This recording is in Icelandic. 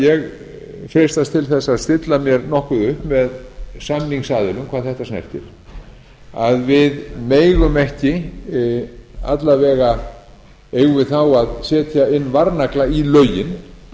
ég freistast til þess að stilla mér nokkuð upp með samnignsaðilumn hvað þetta snertir að við megum ekki alla vega eigum við þá að setja inn varnagla í lögin